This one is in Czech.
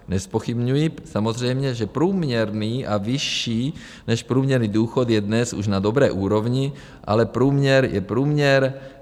Nezpochybňuji samozřejmě, že průměrný a vyšší než průměrný důchod je dnes už na dobré úrovni, ale průměr je průměr.